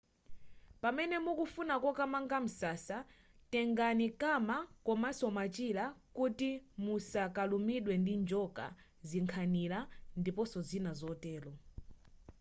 pamene mukufuna kokamanga msasa tengani kama komanso machira kuti musakalumidwe ndi njoka zinkhanira ndiponso zina zotero